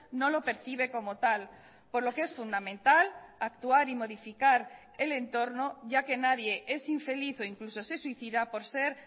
no lo percibe como tal por lo que es fundamental actuar y modificar el entorno ya que nadie es infeliz o incluso se suicida por ser